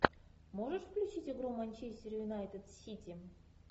можешь включить игру манчестер юнайтед сити